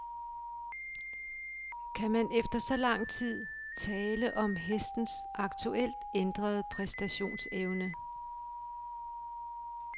Kan man efter så lang tid tale om hestens aktuelt ændrede præstationsevne?